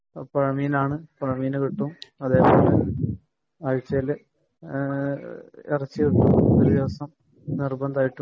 അതിൽ പുഴമീനാണ് പുഴമീന് കിട്ടും . പിന്നെ ഇറച്ചി ഒരുദിവസം നിര്ബന്ധമായിട്ടു കിട്ടും